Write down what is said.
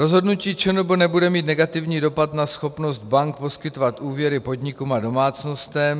Rozhodnutí ČNB nebude mít negativní dopad na schopnost bank poskytovat úvěry podnikům a domácnostem.